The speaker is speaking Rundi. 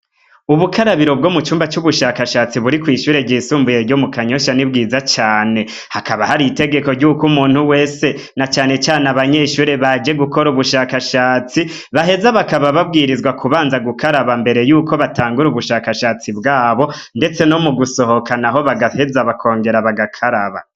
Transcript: Ubukarabiro bwo mu cumba c'ubushakashatsi buri kw'ishure ryisumbuye ryo mu Kanyosha ni bwiza cane. Hakaba hari itegeko ry'uko umuntu wese, na cane cane abanyeshure baje gukora ubushakashatsi baheza bakaba babwirizwa kubanza gukaraba imbere y'uko batangura ubushakashatsi bwabo ndetse no mungusohoka naho bagaheza bakongera bagakaraba.